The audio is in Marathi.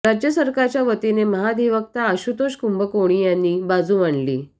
राज्य सरकारच्या वतीने महाधिवक्ता आशुतोष कुंभकोणी यांनी बाजू मांडली